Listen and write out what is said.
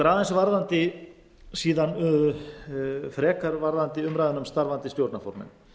mig langar síðan aðeins frekar varðandi umræðuna um starfandi stjórnarformenn